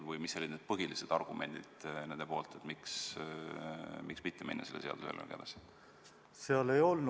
Või mis olid nende põhilised argumendid, miks mitte minna selle seaduseelnõuga edasi?